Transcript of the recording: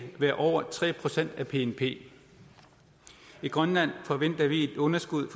være over tre procent af bnp i grønland forventer vi et underskud